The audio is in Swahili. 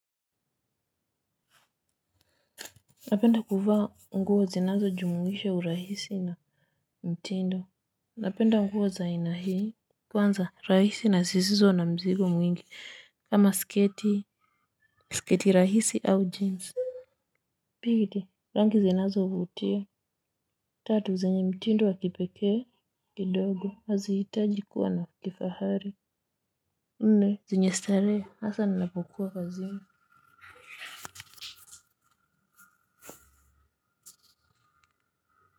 Napenda kuvaa nguo zinazojumuisha urahisi na mtindo napenda nguo za aina hii kwanza rahisi na zisizo na mzigo mwingi kama sketi sketi rahisi au jeans pili rangi zinazovutia tatu zenye mtindo wa kipekee kidogo hazihitaji kuwa na kifahari nne zenye starehe hasa ninapokuwa kazini.